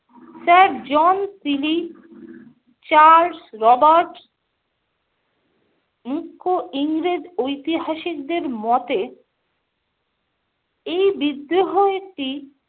Sir John Seeley, Charles Roberts, মুখ্য ইংরেজ ঐতিহাসিকদের মতে এই বিদ্রোহ একটি